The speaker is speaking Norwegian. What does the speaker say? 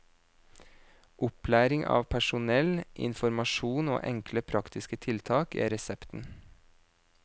Opplæring av personell, informasjon og enkle praktiske tiltak er resepten.